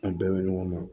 An bɛɛ bɛ ɲɔgɔn ma